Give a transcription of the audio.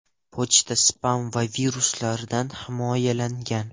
Pochta spam va viruslardan himoyalangan.